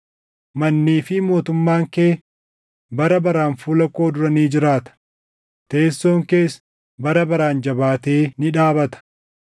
Mannii fi mootummaan kee bara baraan fuula koo dura ni jiraata; teessoon kees bara baraan jabaatee ni dhaabata.’ ”